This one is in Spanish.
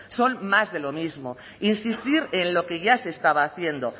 son más de lo mismo insistir en lo que ya se estaba haciendo